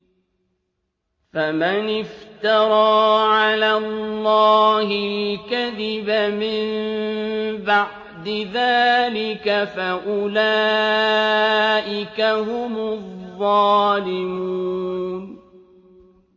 فَمَنِ افْتَرَىٰ عَلَى اللَّهِ الْكَذِبَ مِن بَعْدِ ذَٰلِكَ فَأُولَٰئِكَ هُمُ الظَّالِمُونَ